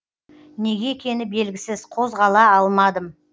неге екені белгісіз қозғала алмадым